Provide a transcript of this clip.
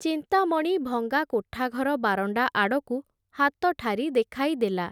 ଚିନ୍ତାମଣି ଭଙ୍ଗା କୋଠାଘର ବାରଣ୍ଡା ଆଡ଼କୁ, ହାତଠାରି ଦେଖାଇ ଦେଲା ।